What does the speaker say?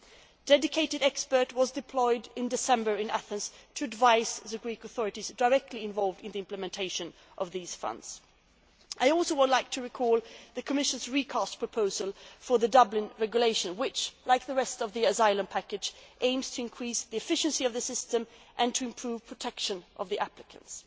A dedicated expert was deployed to Athens in December 2011 to advise the Greek authorities directly involved in the implementation of these funds. I would also like to recall the Commission's recast proposal for the Dublin Regulation which, like the rest of the asylum package, aims to increase the efficiency of the system and to improve protection of the applicants.